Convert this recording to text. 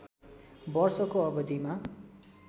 वर्षको अवधिमा